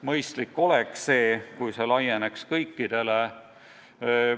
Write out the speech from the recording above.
Mõistlik oleks, kui see laieneks kõikidele.